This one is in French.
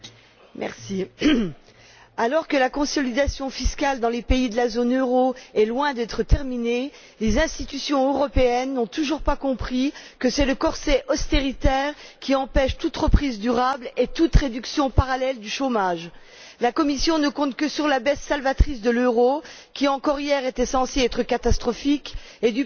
Monsieur le Président, alors que la consolidation fiscale dans les pays de la zone euro est loin d'être terminée, les institutions européennes n'ont toujours pas compris que c'est le corset austéritaire qui empêche toute reprise durable et toute réduction parallèle du chômage. La Commission ne compte que sur la baisse salvatrice de l'euro, qui encore hier était censée être catastrophique, et